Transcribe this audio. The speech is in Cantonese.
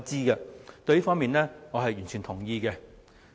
我對此方面是完全同意的。